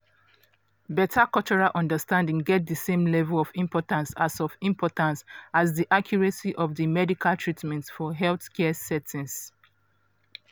beta cultural understanding get di same level of importance as of importance as di accuracy of di medical treatment for healthcare settings.